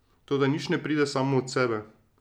Toda nič ne pride samo od sebe.